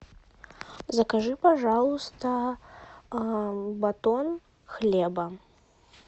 закажи пожалуйста батон хлеба